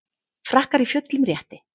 Frakkar í fullum rétti